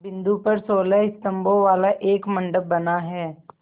बिंदु पर सोलह स्तंभों वाला एक मंडप बना है